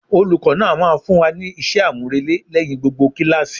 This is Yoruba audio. Olùkó náà máa fún wa ní isé àmúrelé lẹ́yìn gbogbo kíláàsì.